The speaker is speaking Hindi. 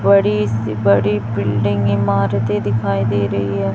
बड़ी सी बड़ी बिल्डिंग इमारतें दिखाई दे रही हैं।